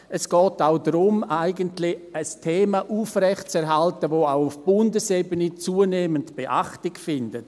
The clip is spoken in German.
Es geht eigentlich auch darum, ein Thema aufrechtzuerhalten, das auch auf Bundesebene zunehmend Beachtung findet.